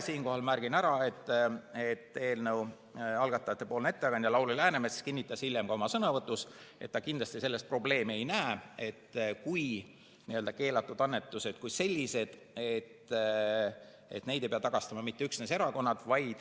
Siinkohal märgin ära, et eelnõu algatajate ettekandja Lauri Läänemets kinnitas hiljem ka oma sõnavõtus, et ta kindlasti selles probleemi ei näe, kui keelatud annetusi kui selliseid ei pea tagastama mitte üksnes erakonnad.